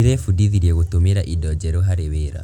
Ndĩrebundithirie gũtũmĩra indo njerũ harĩ wĩra.